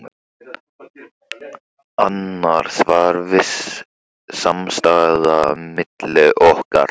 Annars var viss samstaða milli okkar